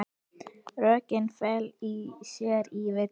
Rökin fela í sér villu.